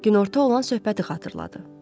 Günorta olan söhbəti xatırladı.